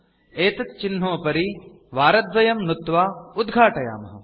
एतत् चिह्नोपरि उपरि वारद्वयं नुत्वा उद्घाटयामः